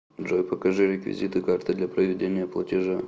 джой покажи реквизиты карты для проведения платежа